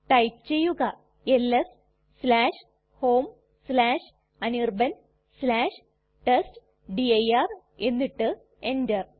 type ചെയ്യുക LS homeanirbantestdir എന്നിട്ട് enter